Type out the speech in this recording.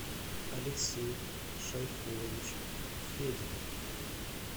алексей шайхуллович федин